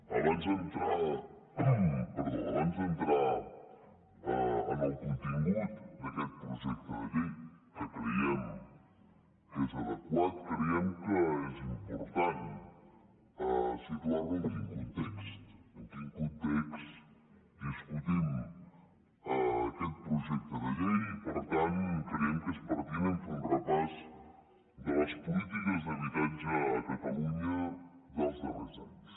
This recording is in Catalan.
abans d’entrar en el contingut d’aquest projecte de llei que creiem que és adequat creiem que és important situar en quin context discutim aquest projecte de llei i per tant creiem que és pertinent fer un repàs de les polítiques d’habitatge a catalunya dels darrers anys